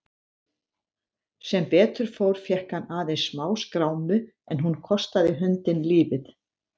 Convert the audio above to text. Sem betur fór fékk hann aðeins smáskrámu en hún kostaði hundinn lífið.